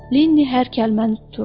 Lenni hər kəlməni tuturdu.